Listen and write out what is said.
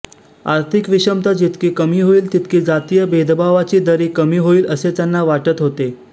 आर्थिक विषमता जितकी कमी होईल तितकी जातीय भेदभावाची दरी कमी होईल असे त्यांना वाटत होते